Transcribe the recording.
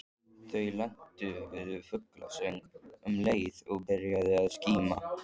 Þau lentu við fuglasöng um leið og byrjaði að skíma.